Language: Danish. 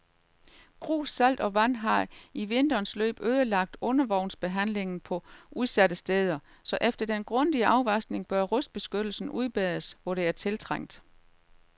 Grus, salt og vand har i vinterens løb ødelagt undervognsbehandlingen på udsatte steder, så efter den grundige afvaskning bør rustbeskyttelsen udbedres, hvor det er tiltrængt.